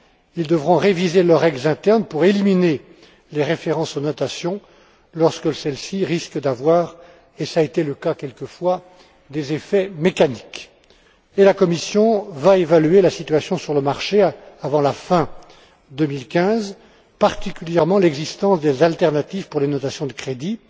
Ils devront réviser leurs règles internes pour éliminer les références aux notations, lorsque celles ci risquent d'avoir cela a été le cas quelquefois des effets mécaniques. La Commission va évaluer la situation sur le marché avant la fin 2015, particulièrement l'existence des alternatives pour les notations de crédit.